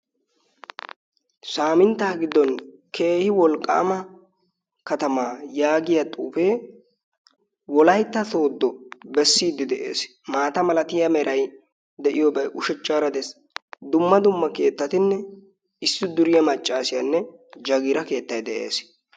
saaminttaa giddon keehi wolqqaama katamaa yaagiya xuufee wolaytta tooddo bessiiddi de'ees. maata malatiya meray de'iyoobay ushachchaara dees. dumma dumma keettatinne issi duriya maccaasiyaanne jagiira keettay de'ees.